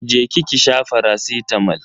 Je ki ki sha faracitamol.